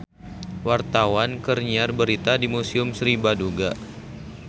Wartawan keur nyiar berita di Museum Sri Baduga